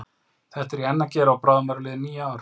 Þetta er ég enn að gera og bráðum eru liðin níu ár.